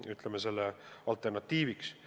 See pole mõeldud alternatiiviks.